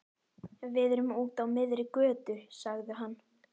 Við erum úti á miðri götu, sagði hann.